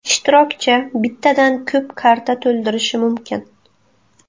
Ishtirokchi bittadan ko‘p karta to‘ldirishi mumkin.